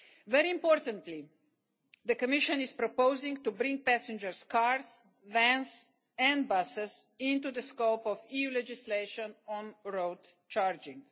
Very importantly, the Commission is proposing to bring passenger cars, vans and buses within the scope of the EU legislation on road charging.